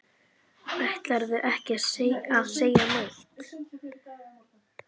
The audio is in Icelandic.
Ætlarðu ekki að segja neitt?